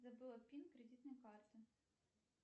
забыла пин кредитной карты